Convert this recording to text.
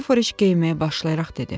İki Foreş geyinməyə başlayaraq dedi: